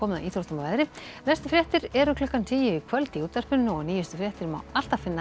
að íþróttum og veðri næstu fréttir eru klukkan tíu í kvöld í útvarpinu og nýjustu fréttir má alltaf finna